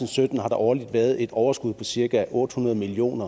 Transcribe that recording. og sytten årligt har været et overskud på cirka otte hundrede million